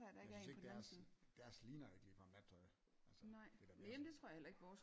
Jeg synes ikke deres deres ligner jo ikke ligefrem nattøj altså det er da mere